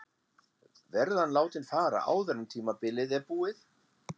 Verður hann látinn fara áður en tímabilið er búið?